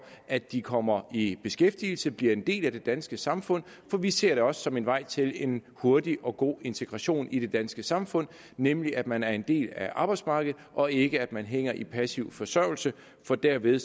at de kommer i beskæftigelse og bliver en del af det danske samfund for vi ser det også som en vej til en hurtig og god integration i det danske samfund nemlig at man er en del af arbejdsmarkedet og ikke at man hænger i passiv forsørgelse for derved